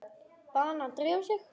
Bað hana að drífa sig.